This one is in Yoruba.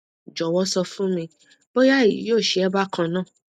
jowo sọ fún mi bóyá èyí yóò sè é bákan náà